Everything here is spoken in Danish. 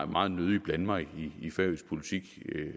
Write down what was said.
meget nødig blande mig i færøsk politik